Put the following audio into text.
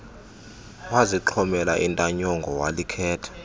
wazixhomela intanyongo walikhetha